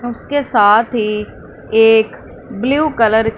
उसके साथ ही एक ब्लू कलर --